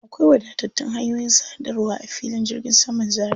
Akwai wadatattun hanyoyin sadarwa a filin jirgin saman Zaria.